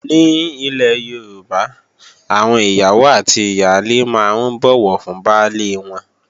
Ní ilè Yorùbá, àwọn ìyàwó àti ìyálé máa ń bọ̀wọ̀ fún baálé wọn